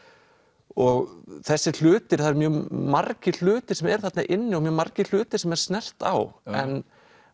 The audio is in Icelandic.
og þessir hlutir það eru mjög margir hlutir sem eru þarna inni og mjög margir hlutir sem er snert á en